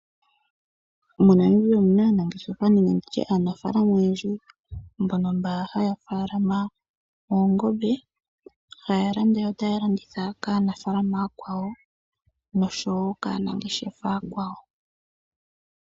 MoNamibia omuna aanafalama mboka haya faalama oongombe haya landa yo taya landitha kaanafalama aakwawo oshowo kaanangeshefa.